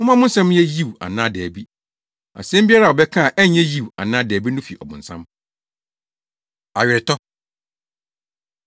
Momma mo nsɛm nyɛ ‘Yiw’ anaa ‘Dabi.’ Asɛm biara a wobɛka a ɛnyɛ Yiw anaa dabi no fi ɔbonsam. Aweretɔ